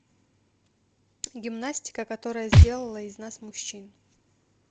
гимнастика которая сделала из нас мужчин